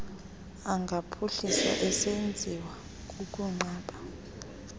engaphuhliswa esenziwa kukunqaba